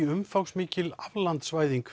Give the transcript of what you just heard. umfangsmikil